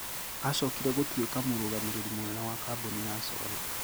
Acokire gũtuĩka mũrũgamĩrĩri mũnene wa kambuni ya solar.